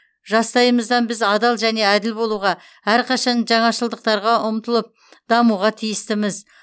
жастайымыздан біз адал және әділ болуға әрқашан жаңашылдықтарға ұмтылып дамуға тиістіміз